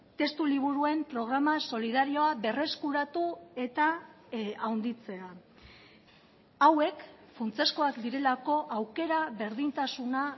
testu liburuen programa solidarioa berreskuratu eta handitzea hauek funtsezkoak direlako aukera berdintasuna